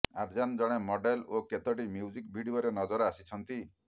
ଆର୍ଯ୍ୟନ୍ ଜଣେ ମଡେଲ୍ ଓ କେତୋଟି ମ୍ୟୁଜିକ୍ ଭିଡିଓରେ ନଜର ଆସିଛନ୍ତି